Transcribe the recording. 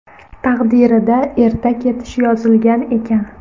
Taqdirida erta ketish yozilgan ekan.